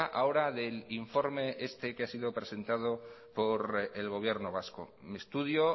ahora del informe que ha sido presentado por el gobierno vasco un estudio